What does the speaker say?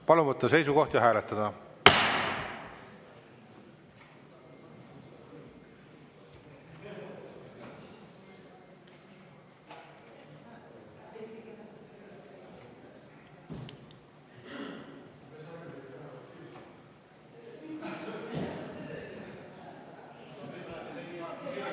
Palun võtta seisukoht ja hääletada!